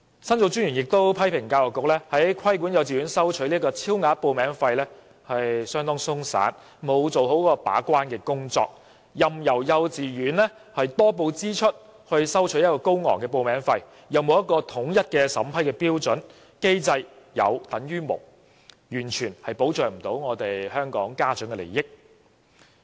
申訴專員公署亦批評教育局規管幼稚園收取超額報名費的工作相當鬆散，沒有做好把關，任由幼稚園多報支出以收取高昂的報名費，又沒有統一的審批標準，機制變成有等於無，完全不能保障家長的利益。